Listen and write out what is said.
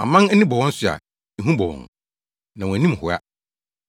Aman ani bɔ wɔn so a, ehu bɔ wɔn; na wɔn anim hoa.